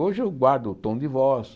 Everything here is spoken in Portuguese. Hoje, eu guardo o tom de voz.